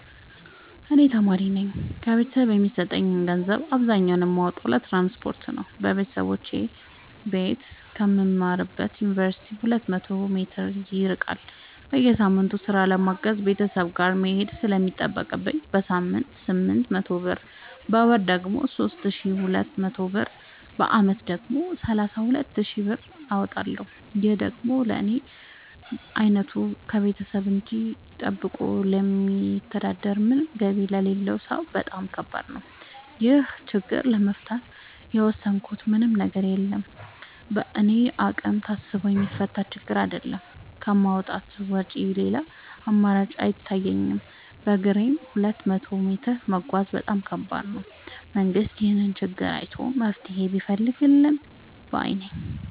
እኔ ተማሪነኝ ከቤተሰብ የሚሰጠኝን ገንዘብ አብዛኛውን የማወጣው ለትራንስፖርት ነው የበተሰቦቼ ቤት ከምማርበት ዮንቨርሲቲ ሁለት መቶ ሜትር ይርቃል። በየሳምቱ ስራ ለማገዝ ቤተሰብ ጋር መሄድ ስለሚጠቅብኝ በሳምንት ስምንት መቶ ብር በወር ደግሞ ሶስት ሺ ሁለት መቶ ብር በአመት ደግሞ ሰላሳ ሁለት ሺ ብር አወጣለሁ ይህ ደግሞ ለኔ አይነቱ ከቤተሰብ እጂ ጠብቆ ለሚተዳደር ምንም ገቢ ለሌለው ሰው በጣም ከባድ ነው። ይህን ችግር ለመፍታት የወሰድኩት ምንም ነገር የለም በእኔ አቅም ታስቦ የሚፈታ ችግርም አይደለም ከማውጣት ውጪ ሌላ አማራጭ አይታየኝም በግሬም ሁለት መቶ ሜትር መጓዝ በጣም ከባድ ነው። መንግስት ይህንን ችግር አይቶ መፍትሔ ቢፈልግልን ባይነኝ።